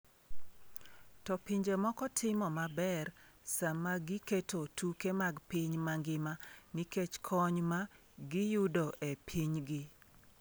To pinje moko timo maber sama giketo tuke mag piny mangima nikech kony ma giyudo e pinygi.